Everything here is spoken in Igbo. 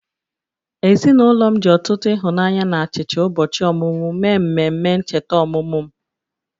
Ezinụlọ m ji ọtụtụ ịhụnanya na achicha ụbọchị ọmụmụ mee mmemme ncheta ọmụmụ m